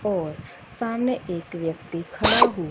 और सामने एक व्यक्ति खड़ा हु--